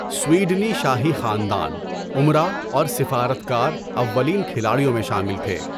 سویڈنی شاہی خاندان، امراء اور سفارت کار اولین کھلاڑیوں میں شامل تھے۔